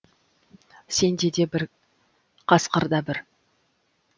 сендер де бір қасқыр да бір